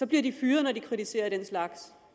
bliver fyret når de kritiserer den slags